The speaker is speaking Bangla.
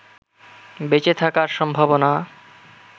বেঁচে থাকার সম্ভাবনা